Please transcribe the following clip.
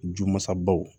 Ju masabaw